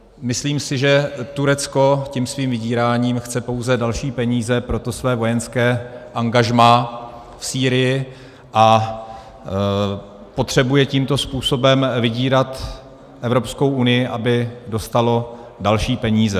Myslím si, že Turecko tím svým vydíráním chce pouze další peníze pro to své vojenské angažmá v Sýrii a potřebuje tímto způsobem vydírat Evropskou unii, aby dostalo další peníze.